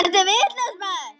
Ertu vitlaus maður?